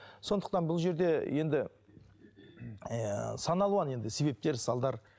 сондықтан бұл жерде енді ыыы сан алуан енді себептер салдар